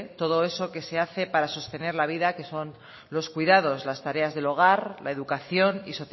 todo eso que se hace para sostener la vida que son los cuidados las tareas del hogar la educación y